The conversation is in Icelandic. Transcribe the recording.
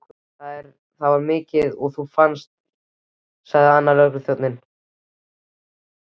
Það var mikið að þú fannst, sagði annar lögregluþjónanna.